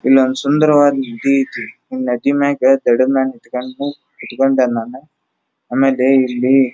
ಇಲ್ಲೊಂದು ಸುಂದರವಾದ ನದಿ ಐತಿ ನದಿ ಮ್ಯಾಕೆ ದಡದ್ ಮ್ಯಾಗ್ ಕುತ್ಕೊಂಡೆ ನಾನ ಆಮೇಲೆ ಇಲ್ಲಿ --